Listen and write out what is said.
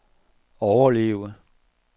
overleve